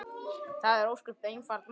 Það er ósköp einfalt mál.